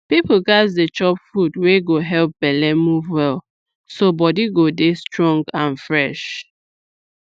people gats dey chop food wey go help belle move well so body go dey strong and fresh